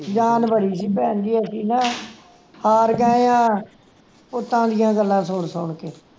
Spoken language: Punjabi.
ਜਾਣ ਬੜੀ ਸੀ ਭੈਣਜੀ ਅਸੀਂ ਨਾ ਹਾਰ ਗਏ ਆ ਪੁੱਤਾਂ ਦੀਆਂ ਗੱਲਾਂ ਸੁਨ ਸੁਨ ਕੇ